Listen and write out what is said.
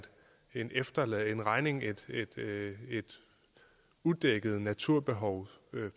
en en regning et udækket naturbehov